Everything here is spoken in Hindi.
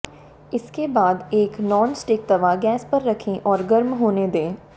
इसके बाद एक नॉन स्टिक तवा गैस पर रखें और गर्म होने दें